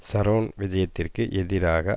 Sharon விஜயத்திற்கு எதிராக